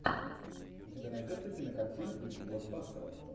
у тебя найдется кинокартина в духе блокбастера